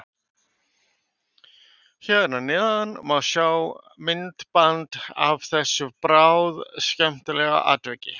Hér að neðan má sjá myndband af þessu bráðskemmtilega atviki.